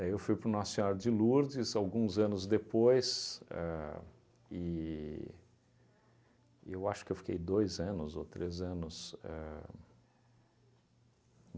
Aí eu fui para o Nossa Senhora de Lourdes, alguns anos depois, ahn e e eu acho que eu fiquei dois anos ou três anos ahn